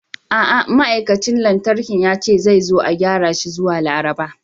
A'a, ma'aikacin lantarki ya ce zai zo a gyara shi zuwa Laraba.